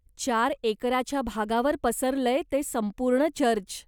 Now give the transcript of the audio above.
चार एकराच्या भागावर पसरलंय ते संपूर्ण चर्च.